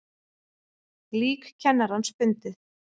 Lík kennarans fundið